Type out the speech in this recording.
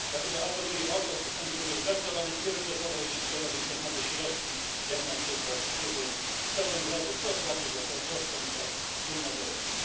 Dlatego apeluję o to, by fundusz był traktowany priorytetowo, jeśli pojawią się nowe środki, jak na przykład wpływy z ceł węglowych czy opłaty za dostęp do wspólnego rynku.